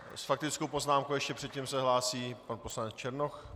S faktickou poznámkou ještě předtím se hlásí pan poslanec Černoch.